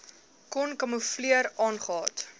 kon kamoefleer aangehad